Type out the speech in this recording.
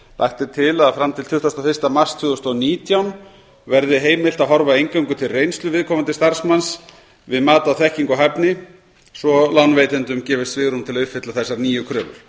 lagt er til að fram til tuttugasta og fyrsta mars tvö þúsund og nítján verði heimilt að horfa eingöngu til reynslu viðkomandi starfsmanns við mat á þekkingu og hæfni svo lánveitendum gefist svigrúm til að uppfylla þessar nýju kröfur